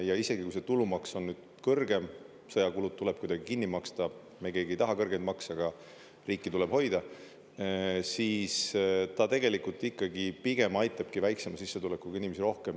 Ja isegi kui see tulumaks on nüüd kõrgem, sõjakulud tuleb kuidagi kinni maksta – me keegi ei taha kõrgeid makse, aga riiki tuleb hoida –, siis ta tegelikult ikkagi pigem aitabki väiksema sissetulekuga inimesi rohkem.